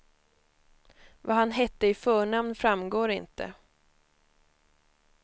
Vad han hette i förnamn framgår inte.